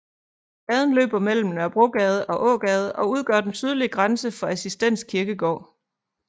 Gaden løber mellem Nørrebrogade og Ågade og udgør den sydlige grænse for Assistens Kirkegård